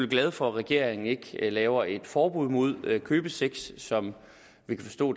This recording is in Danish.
glade for at regeringen ikke laver et forbud mod købesex som vi kan forstå